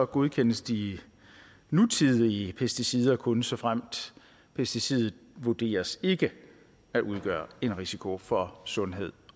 godkendes de nutidige pesticider kun såfremt pesticidet vurderes ikke at udgøre en risiko for sundhed